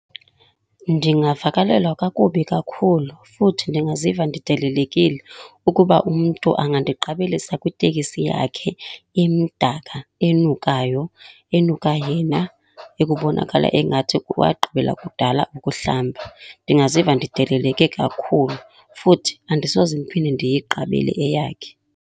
Ndingavakalelwa kakubi kakhulu futhi ndingaziva ndidelelekile ukuba umntu angandiqabelisa kwitekisi yakhe emdaka, enukayo, enuka yena ekubonakala engathi wagqibela kudala ukuhlamba. Ndingaziva ndideleleke kakhulu futhi andisoze ndiphinde ndiyiqabele eyakhe.